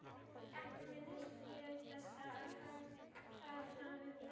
Ekki minnist ég þess að það hafi verið gert.